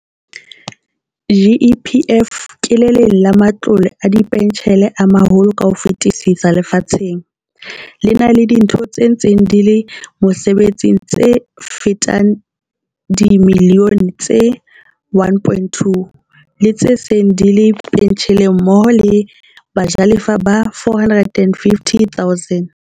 GEPF ke le leng la ma tlole a dipentjhele a maholo ka ho fetisisa lefatsheng, le na le ditho tse ntseng di le mosebetsing tse fetang dimi lione tse 1.2, le tse seng di le pentjheleng mmoho le bajalefa ba 450 000.